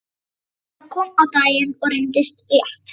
Þetta kom á daginn og reyndist rétt.